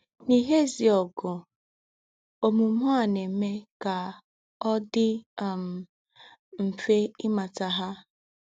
N’íhé èzí ógù, òmùmè à nà-èmè ká ọ̀ dì um mfè ímàtà hà.